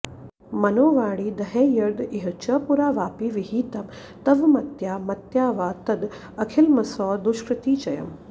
मनोवाणीदेहैर्यद् इह च पुरा वापि विहितं त्वमत्या मत्या वा तद् अखिलमसौ दुष्कृतिचयम्